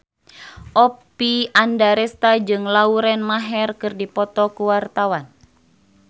Oppie Andaresta jeung Lauren Maher keur dipoto ku wartawan